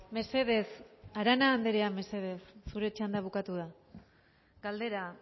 mesedez arana andrea mesedez zure txanda bukatu da galdera